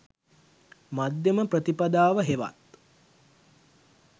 මධ්‍යම ප්‍රතිපදාව හෙවත්